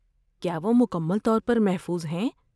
کیا وہ مکمل طور پر محفوظ ہیں؟